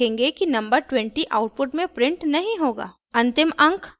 आप शीघ्र ही देखेंगे कि नंबर 20 आउटपुट में प्रिंट नहीं होगा